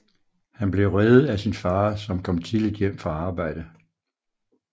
Han ble reddet af sin far som kom tidligt hjem fra arbejde